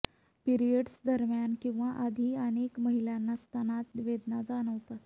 periods दरम्यान किंवा आधी अनेक महिलांना स्तनात वेदना जाणवतात